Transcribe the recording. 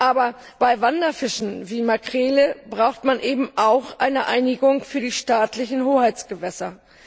Aber bei Wanderfischen wie Makrelen braucht man eben auch eine Einigung für die staatlichen Hoheitsgewässer.